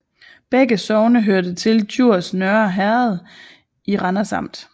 Begge sogne hørte til Djurs Nørre Herred i Randers Amt